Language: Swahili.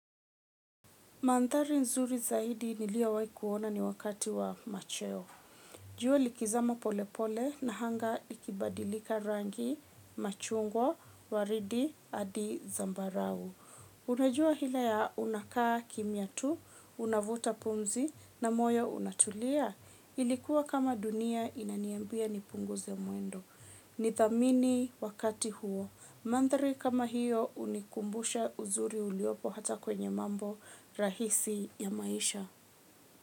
Mandhari nzuri zaidi niliyowahi kuona ni wakati wa macheo. Jua likizama polepole na anga ikibadilika rangi machungwa waridi hadi zambarau. Unajua hila ya unakaa kimya tu, unavuta pumzi na moyo unatulia. Ilikuwa kama dunia inaniambia nipunguze mwendo. Nithamini wakati huo. Mandhari kama hiyo hunikumbusha uzuri uliopo hata kwenye mambo rahisi ya maisha.